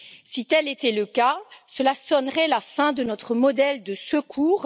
Si tel était le cas, cela sonnerait la fin de notre modèle de secours.